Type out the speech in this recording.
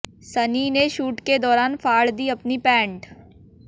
सनी ने शूट के दौरान फाड़ दी अपनी पैंट